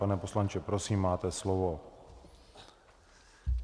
Pane poslanče, prosím, máte slovo.